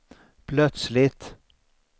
plötsligt